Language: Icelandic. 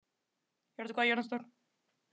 Hjörtur, hvað er jörðin stór?